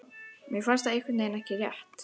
Mér finnst það einhvernveginn ekki rétt.